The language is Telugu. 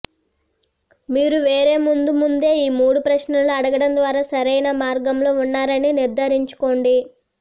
మీరు వేరేముందు ముందే ఈ మూడు ప్రశ్నలను అడగడం ద్వారా సరైన మార్గంలో ఉన్నారని నిర్ధారించుకోండి